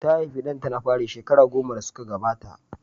Ta haifi ɗanta na fari shekaru goma da suka gabata.